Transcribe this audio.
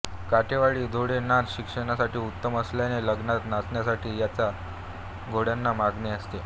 काठेवाडी घोडे नाच शिकण्यासाठी उत्तम असल्याने लग्नात नाचण्यासाठी याच घोड्यांना मागणी असते